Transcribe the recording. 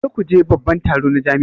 Kar ku je babban taro na jami'a